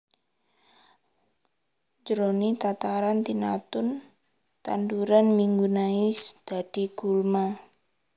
Jroning tataran tinamtu tanduran migunani bisa dadi gulma